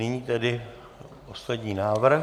Nyní tedy poslední návrh.